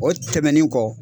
O tɛmɛnin kɔ